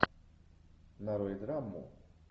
нарой драму